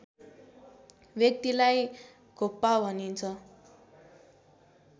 व्यक्तिलाई घोप्पा भनिन्छ